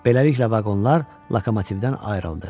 Beləliklə vaqonlar lokomotivdən ayrıldı.